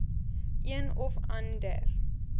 een of ander